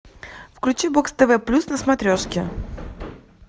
включи бокс тв плюс на смотрешке